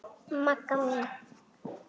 Magga mín.